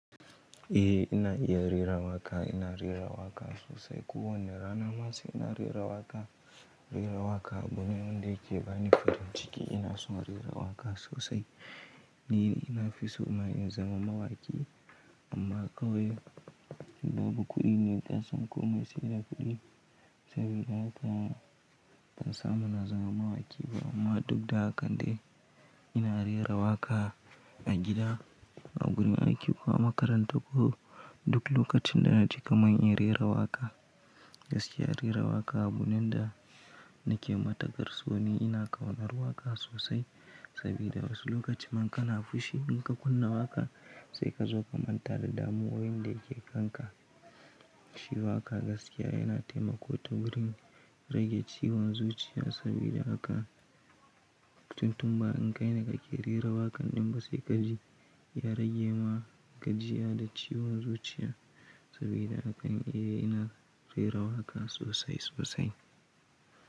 Eh ina iya rera waƙa, ina rera waƙa sosai. Ko wannan rana masu ina rera waƙa, rera waƙa abune wanda yake bani farin ciki. Ina son rera waƙa sosai. Ni ina fiso ma in zama mawaki. Amma kawai babu kuɗi ne, kasan komai sai da kuɗi saboda haka ban samu na zama mawaki ba. Amma dukda hakan dai ina rera waƙa a gida, a wurin aiki ko a makaranta ko duk lokacin da naji kamar in rera waƙa. Gaskiya rera waƙa abune da nake matukar sone. Ina ƙaunar waƙa sosai saboda wasu lokutan in kana fushi fushi inka kunna waƙa sai kazo ka manta da damuwoyin da yake kanka. Shi waƙa gaskiya yana taimako ta wurin rage ciwon zuciya saboda haka tuntunma in kaine kake rera waƙan dinma sai kaji ya rage ma gajiya da ciwon zuciya saboda haka eh ina rera waƙa sosai sosai.